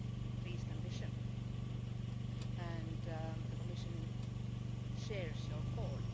increased ambition, and the Commission shares your call.